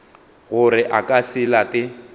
gore a ka se late